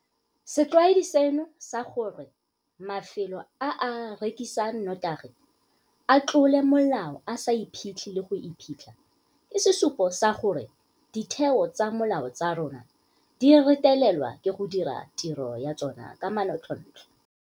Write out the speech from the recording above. Setlwaedi seno sa gore mafelo a a rekisang notagi a tlole molao a sa iphetlhe le go iphitlha ke sesupo sa gore ditheo tsa molao tsa rona di retelelwa ke go dira tiro ya tsona ka manontlhotlho.